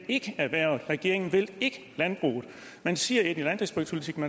erhvervet regeringen vil ikke landbruget man siger et i landdistriktspolitikken